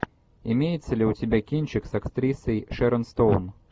имеется ли у тебя кинчик с актрисой шерон стоун